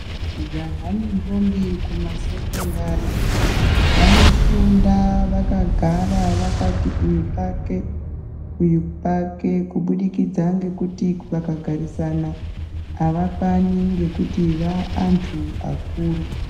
Majaha nendombi kumasekwendari vanofunda vakagara vakati uyu pake uyu pake kubudikidza ngekuti vakagarisana avakwani ngekuti vantu vakuru.